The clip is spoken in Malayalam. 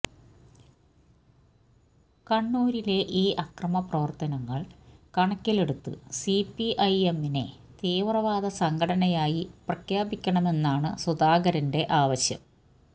കണ്ണൂരിലെ ഈ അക്രമപ്രവര്ത്തനങ്ങള് കണക്കിലെടുത്ത് സിപിഐഎമ്മിനെ തീവ്രവാദ സംഘടനയായി പ്രഖ്യാപിക്കണമെന്നാണ് സുധാകരന്റെ ആവശ്യം